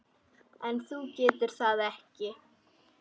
En þú getur það ekki.